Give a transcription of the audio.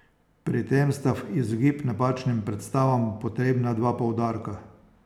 Pri tem sta v izogib napačnim predstavam potrebna dva poudarka.